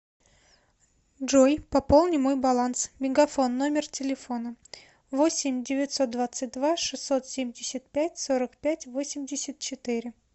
джой пополни мой баланс мегафон номер телефона восемь девятьсот двадцать два шестьсот семьдесят пять сорок пять восемьдесят четыре